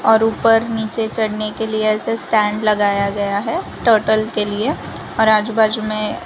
और उपर नीचे चढ़ने के लिए ऐसे स्टैंड लगाया गया है टर्टल के लिए और आजू बाजू में--